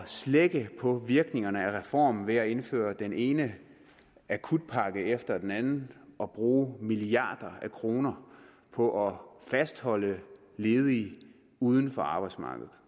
slække på virkningerne af reformen ved at indføre den ene akutpakke efter den anden og bruge milliarder af kroner på at fastholde ledige uden for arbejdsmarkedet